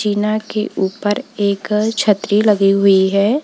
के ऊपर एक छतरी लगी हुई है।